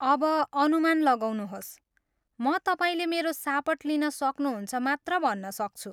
अब अनुमान लगाउनुहोस्! म तपाईँले मेरो सापट लिन सक्नुहुन्छ मात्र भन्न सक्छु।